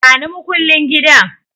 Bani makullin gidan